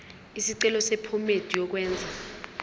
isicelo sephomedi yokwenze